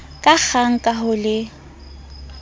ka kgang ka ho le